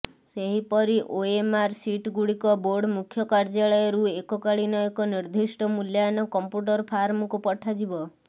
ସେହିପରି ଓଏମଆର୍ ସିଟଗୁଡ଼ିକ ବୋର୍ଡ ମୁଖ୍ୟ କାର୍ଯ୍ୟାଳୟରୁ ଏକକାଳୀନ ଏକ ନିର୍ଦ୍ଦିଷ୍ଟ ମୂଲ୍ୟାୟନ କମ୍ପ୍ୟୁଟର ଫାର୍ମକୁ ପଠାଯିବ